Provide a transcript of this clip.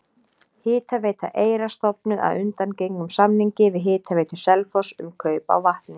Hitaveita Eyra stofnuð að undangengnum samningi við Hitaveitu Selfoss um kaup á vatni.